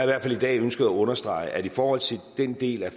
hvert fald i dag ønsket at understrege at i forhold til den del af